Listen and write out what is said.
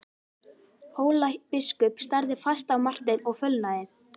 Hólabiskup starði fast á Martein og fölnaði.